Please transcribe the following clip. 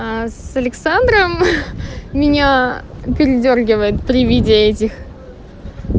а с александром меня передёргивает при виде этих